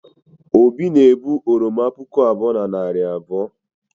obi na-ebu oroma puku abụọ na narị abụọ